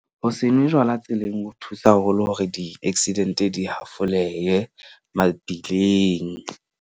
Ho se nwe jwala tseleng ho thusa haholo hore di-accident-e di hafoleye mabileng.